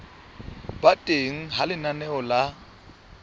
ba teng ha lenaneo la